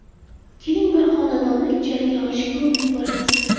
Keling, bir xonadonni ijaraga olishga urinib ko‘ramiz.